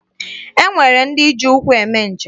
E nwere ndị ji ụkwụ eme njem.